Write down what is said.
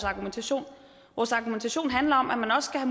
argumentation vores argumentation handler om at man også skal